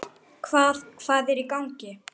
Hvað, hvað er í gangi?